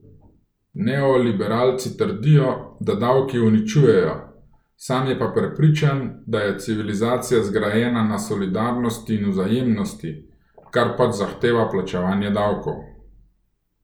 Neoliberalci trdijo, da davki uničujejo, sam je pa prepričan, da je civilizacija zgrajena na solidarnosti in vzajemnosti, kar pač zahteva plačevanje davkov.